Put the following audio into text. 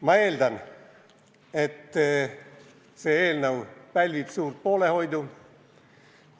Ma eeldan, et see eelnõu pälvib suurt poolehoidu.